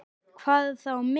Hvað þá mig.